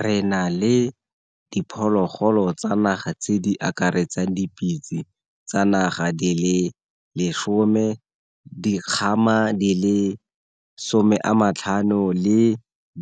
Re na le diphologolo tsa naga tse di akaretsang dipitse tsa naga di le 10, dikgama di le 15 le